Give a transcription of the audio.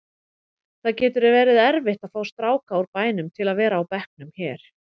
Það getur verið erfitt að fá stráka úr bænum til að vera á bekknum hér.